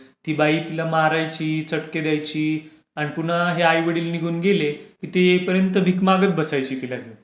ती बाई तिला मारायची, चटके द्यायची, आणि पुन्हा हे आईवडील निघून गेले ते येईपर्यंत भीक मागत बसायची तिला घेऊन.